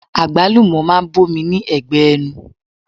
Agbalumo máa ń bomi ní ẹgbẹ ẹnu.